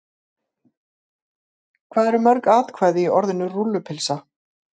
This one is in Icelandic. Hvað eru mörg atkvæði í orðinu rúllupylsa?